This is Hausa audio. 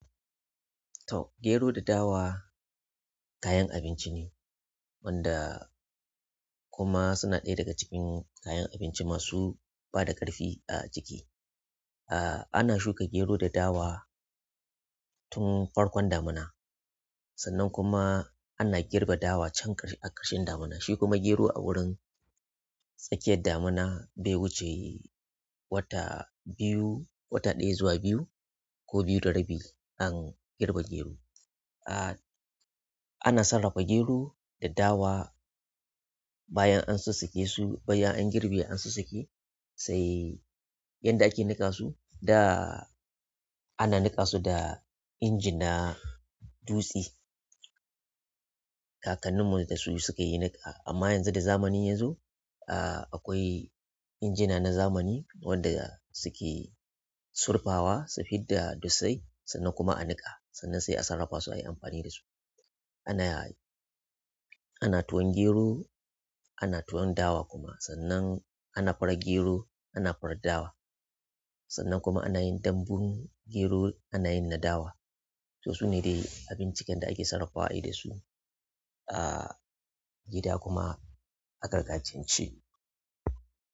To, gero da dawa kayan abinci ne, wanda kuma suna ɗaya daga cikin kayan abinci masu bada ƙarfi a jiki. Ah, ana shuka gero da dawa tun farkon damuna, sannan kuma ana girbe dawa can a ƙarshen damuna. Shi kuma gero a wurin tsakiyar damuna bai huce wata biyu-- wata ɗaya zuwa biyu ko biyu da rabi an girbe gero. Ah, ana sarrafa gero da dawa bayan an sussuke su, bayan an girbe an sussuke, sai yadda ake niƙa su da ana niƙa su da inji na dutse. Kakanninmu dasu sukayi niƙa amma yanzu da zamani yazo, ah, akwai injina na zamani wanda suke surfawa, sufidda dutsai sannan kuma a niƙa sannan sai a sarrafa su ayi amfani dasu. Ana ana tuwan gero ana tuwon dawa kuma sannan ana fara gero, ana fara dawa. Sannan kuma ana yin dambun gero, ana yin na dawa. To su ne dai abincin da ake sarrafawa ayi dasu. Ah, gida kuma aka gajance.